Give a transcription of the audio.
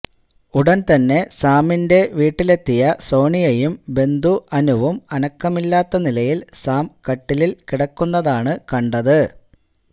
ഉടന് തന്നെ സാമിന്റെ വീട്ടിലെത്തിയ സോണിയയും ബന്ധു അനുവും അനക്കമില്ലാത്ത നിലയില് സാം കട്ടില് കിടക്കുന്നതാണ് കണ്ടത്